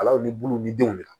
Alaw ni buluw ni denw de la